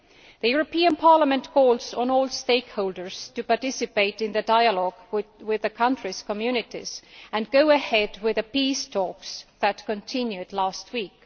The European Parliament calls on all stakeholders to participate in the dialogue with the country's communities and go ahead with the peace talks that continued last week.